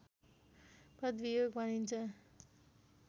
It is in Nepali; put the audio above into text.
पदवियोग भनिन्छ